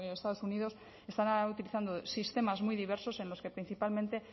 estados unidos están ahora utilizando sistemas muy diversos en los que principalmente